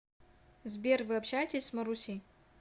сбер вы общаетесь с марусей